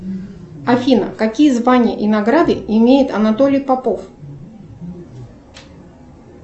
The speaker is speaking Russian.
афина какие звания и награды имеет анатолий попов